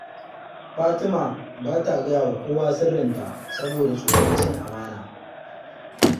Fatima ba ta gaya wa kowa sirrinta, saboda tsoron cin amana